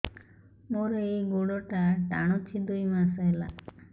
ମୋର ଏଇ ଗୋଡ଼ଟା ଟାଣୁଛି ଦୁଇ ମାସ ହେଲା